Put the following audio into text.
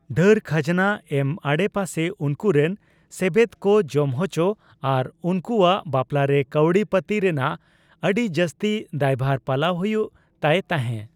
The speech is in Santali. ᱰᱷᱟᱹᱨ ᱠᱷᱟᱡᱚᱱᱟ ᱮᱢ ᱟᱲᱮᱯᱟᱥᱮ ᱩᱱᱠᱩᱨᱮᱱ ᱥᱮᱵᱮᱫ ᱠᱚ ᱡᱚᱢᱦᱚᱪᱚ ᱟᱨ ᱩᱱᱠᱩᱭᱟᱜ ᱵᱟᱯᱞᱟ ᱨᱮ ᱠᱟᱣᱰᱤ ᱯᱟᱛᱤ ᱨᱮᱱᱟᱜ ᱟᱰᱤ ᱡᱟᱥᱛᱤ ᱫᱟᱭᱵᱷᱟᱨ ᱯᱟᱞᱟᱣ ᱦᱩᱭᱩᱜ ᱛᱟᱭ ᱛᱟᱦᱮ ᱾